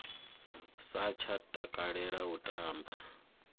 sa tsha takalela u tamba